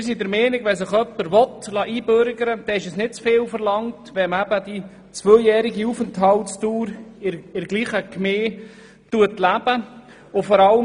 Wir sind der Meinung, wenn sich jemand einbürgern lassen will, ist es nicht zu viel verlangt, dass die Person zuvor zwei Jahre in der gleichen Gemeinde gelebt haben muss.